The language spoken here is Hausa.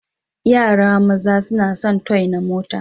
Yara maza suna sun toy na mota.